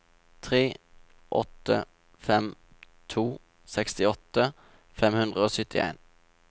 tre åtte fem to sekstiåtte fem hundre og syttien